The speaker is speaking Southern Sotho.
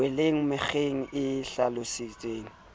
weleng mekgeng e hlalositsweng ka